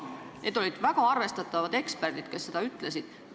Need olid väga arvestatavad eksperdid, kes seda ütlesid.